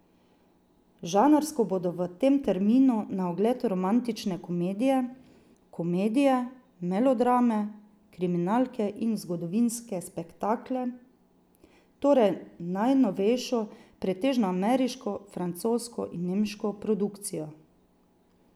Žanrsko bodo v tem terminu na ogled romantične komedije, komedije, melodrame, kriminalke in zgodovinske spektakle, torej najnovejšo, pretežno ameriško, francosko in nemško produkcijo.